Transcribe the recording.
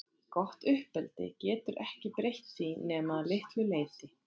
Gott uppeldi getur ekki breytt því nema að litlu leyti.